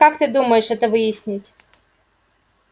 как же ты думаешь это выяснить